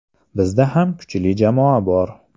Bizda ham kuchli jamoa bor.